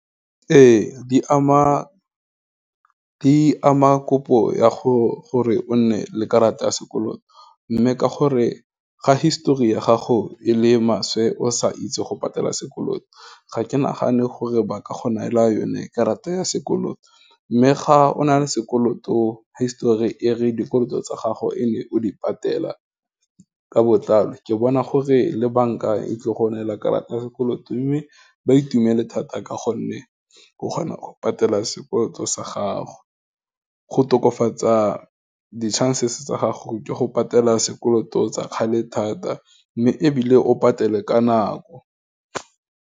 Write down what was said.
Ee, di ama kopo ya gore o nne le karata ya sekoloto, mme ka gore, ga histori ya gago e le maswe o sa itse go patela sekoloto, ga ke nagane gore ba ka go neela yone karata ya sekoloto, mme ga o na le sekoloto histori e re dikoloto tsa gago e ne o di patela ka botlalo, ke bona gore le banka e tlile go neela karata ya sekoloto mme baitumele thata ka gonne, o kgona go patela sekoloto sa gago, go tokafatsa di-chances tsa gago, ke go patela sekoloto tsa kgale thata, mme ebile o patele ka nako.